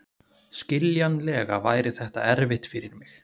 Skiljanlega væri þetta erfitt fyrir mig.